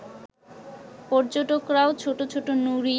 পর্যটকরাও ছোট ছোট নুড়ি